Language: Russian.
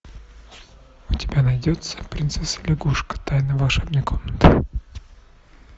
у тебя найдется принцесса лягушка тайна волшебной комнаты